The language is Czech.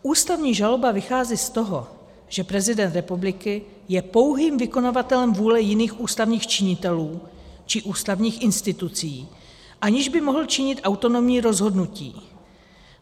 Ústavní žaloba vychází z toho, že prezident republiky je pouhým vykonavatelem vůle jiných ústavních činitelů či ústavních institucí, aniž by mohl činit autonomní rozhodnutí.